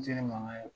mankan ye